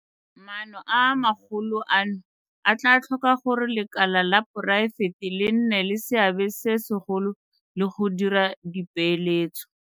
Maano a magolo ano a tla tlhoka gore lekala la poraefete le nne le seabe se segolo le go dira dipeeletso.